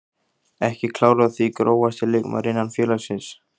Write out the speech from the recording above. Ekki klár á því Grófasti leikmaður innan félagsins?